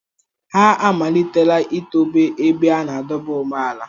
Ha amalitela itobe ebe a na-adọba ụgbọala.